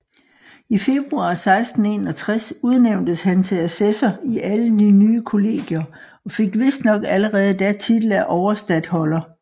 I februar 1661 udnævntes han til assessor i alle de nye kollegier og fik vistnok allerede da titel af overstatholder